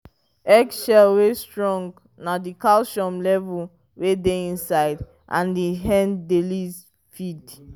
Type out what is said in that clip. eggshell wey strong nah the calcium level wey dey inside and the end and the lease feed